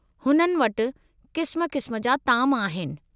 हुननि वटि क़िस्म क़िस्म जा ताम आहिनि।